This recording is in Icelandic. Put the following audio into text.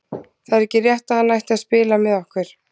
Það er ekki rétt að hann ætti að spila með okkur.